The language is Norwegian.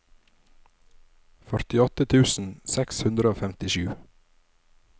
førtiåtte tusen seks hundre og femtisju